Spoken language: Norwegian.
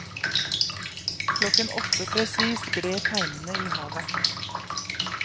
Klokken åtte presis gled teinene i havet.